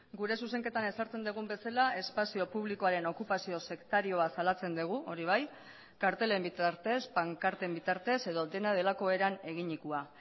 gure zuzenketan ezartzen dugun bezala espazio publikoaren okupazio sektarioa zalatzen dugu hori bai kartelen bitartez pankarten bitartez edo dena delako eran eginikoa